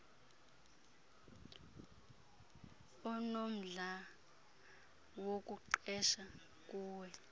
unomdla wokuqesha kuwe